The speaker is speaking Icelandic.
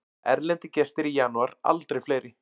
Erlendir gestir í janúar aldrei fleiri